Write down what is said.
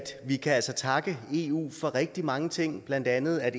vi kan altså takke eu for rigtig mange ting blandt andet at